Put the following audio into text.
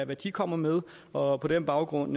hvad de kommer med og på den baggrund